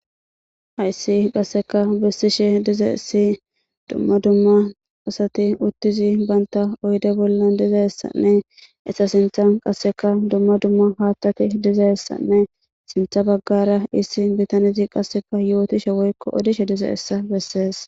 Hayssi qassika be'sishe diza issi dumma dumma asati uttidi banta oyidde bolla diza issanne eta sintan diza dumma dumma haththati diza issane sintha baggara diza issi bitanene qassika yotishe woykko odishe diza iza beses.